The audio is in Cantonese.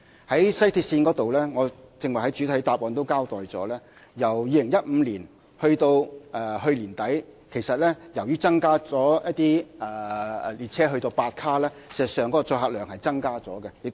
在西鐵線方面，我剛才在主體答覆已交代，由2015年至去年年底，由於一些列車增至8卡，事實上，載客量是增加了。